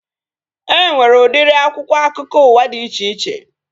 E nwere udiri akwụkwọ akụkọ ụwa dị iche iche